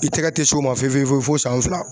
I tɛgɛ tɛ s'o ma fe fe fewu fo san fila.